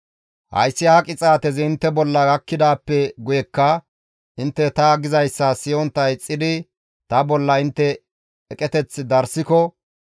« ‹Hayssi ha qixaatezi intte bolla gakkidaappe guyekka intte ta gizayssa siyontta ixxidi ta bolla intte eqeteth darssiko,